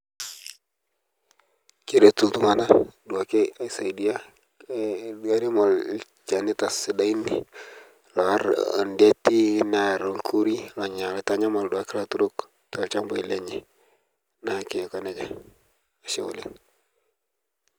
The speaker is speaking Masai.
Keretuu ltung'ana duake asaidia nkiremore olchaanita sidain loarr odieti nearr lkuurii loonya lotanyamal duake latuurok too lchaambai lenye. Naa keikoo nejaa, ashe oleng.